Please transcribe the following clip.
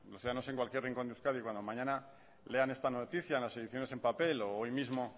ya en cualquier rincón de euskadi cuando mañana lean esta noticia en las ediciones en papel o hoy mismo